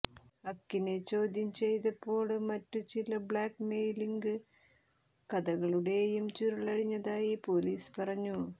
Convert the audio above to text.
ഹഖിനെ ചോദ്യം ചെയ്തപ്പോള് മറ്റു ചില ബ്ലാക്ക്മെയിലിംഗ് കഥകളുടെയും ചുരുളഴിഞ്ഞതായി പോലീസ് പറഞ്ഞു